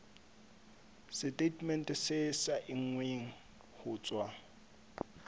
setatemente se saennweng ho tswa